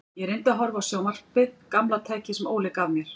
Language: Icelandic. Ég reyndi að horfa á sjónvarpið, gamla tækið sem Óli gaf mér.